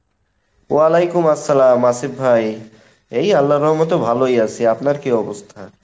ওলাইকুম আসসালাম আসিফ ভাই, এই আল্লাহর রহমতে ভালোই আছি , আপনার কী অবস্থা?